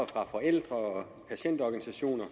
fra forældre og patientorganisationer og